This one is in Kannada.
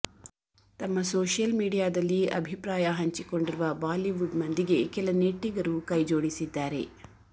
ತಮ್ಮ ಸೋಶಿಯಲ್ ಮೀಡಿಯಾದಲ್ಲಿ ಅಭಿಪ್ರಾಯ ಹಂಚಿಕೊಂಡಿರುವ ಬಾಲಿವುಡ್ ಮಂದಿಗೆ ಕೆಲ ನೆಟ್ಟಿಗರು ಕೈ ಜೋಡಿಸಿದ್ದಾರೆ